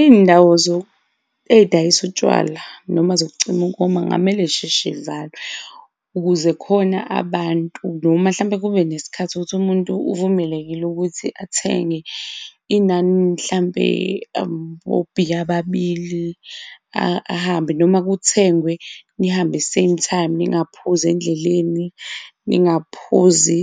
Izindawo ezidayisayo utshwala noma zokucima ukoma kungamele zisheshe zivalwe ukuze khona abantu noma mhlampe kube nesikhathi ukuthi umuntu uvumelekile ukuthi athenge inani mhlampe obhiya ababili ahambe noma kuthengwe nihambe, same time ningaphuzi endleleni, ningaphuzi